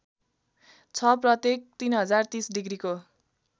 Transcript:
छ प्रत्येक ३०३० डिग्रीको